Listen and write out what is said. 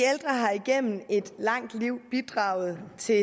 har igennem et langt liv bidraget til